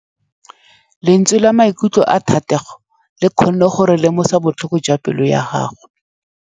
Lentswe la maikutlo a Thategô le kgonne gore re lemosa botlhoko jwa pelô ya gagwe.